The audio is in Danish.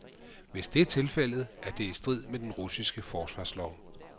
Hvis det er tilfældet, er det i strid med den russiske forsvarslov.